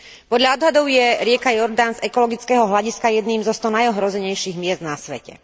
Podľa odhadov je rieka Jordán z ekologického hľadiska jedným zo sto najohrozenejších miest na svete.